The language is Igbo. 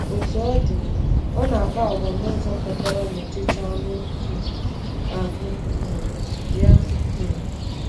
Otú ọ dị, ọ ‘na-akpa àgwà n’ụzọ kwekọrọ n’ọchịchọ anụ um ahụ um ya.’ um